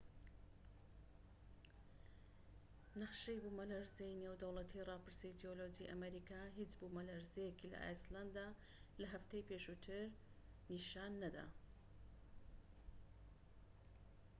نەخشەی بوومەلەرزەی نێودەوڵەتی ڕاپرسی جیۆلۆجی ئەمریکا هیچ بوومەلەرزەیەکی لە ئایسلەندە لە هەفتەی پێشووتر نیشان نەدا